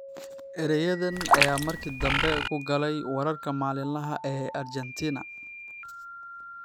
Erayadan ayaa markii dambe ku galay wararka maalinlaha ah ee Argentina.